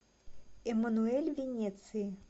эммануэль в венеции